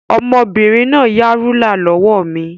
Ọmọbìnrin náà yá rúlà lọ́wọ́ mi.